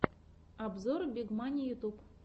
обзор миг мани ютюб